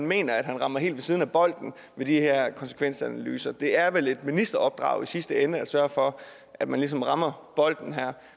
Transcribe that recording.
mener at han rammer helt ved siden af bolden ved de her konsekvensanalyser det er vel et ministeropdrag i sidste ende at sørge for at man ligesom rammer bolden her